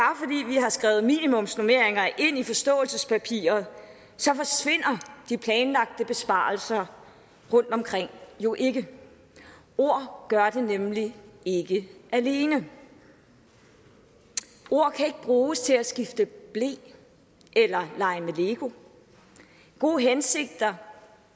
har skrevet minimumsnormeringer ind i forståelsespapiret forsvinder de planlagte besparelser rundtomkring jo ikke ord gør det nemlig ikke alene ord kan ikke bruges til at skifte ble eller lege med lego gode hensigter